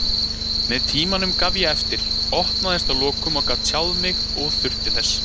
Með tímanum gaf ég eftir, opnaðist að lokum og gat tjáð mig og þurfti þess.